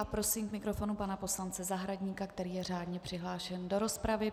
A prosím k mikrofonu pana poslance Zahradníka, který je řádně přihlášen do rozpravy.